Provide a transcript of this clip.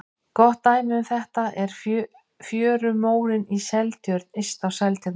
Gott dæmi um þetta er fjörumórinn í Seltjörn yst á Seltjarnarnesi.